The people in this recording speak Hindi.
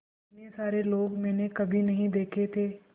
इतने सारे लोग मैंने कभी नहीं देखे थे